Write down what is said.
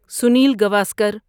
Sunil Gavaskar